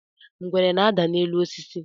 ngwere na-ada n'elu osis